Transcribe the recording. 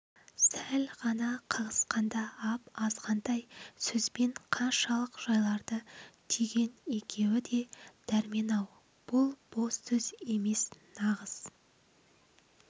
сәл ғана қағысқанда ап-азғантай сөзбен қаншалық жайларды түйген екеуі де дөрмен-ау бұл бос сөз емес нағыз